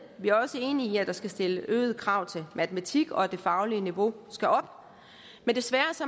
vi er også enige i at der skal stilles øgede krav i matematik og at det faglige niveau skal op men desværre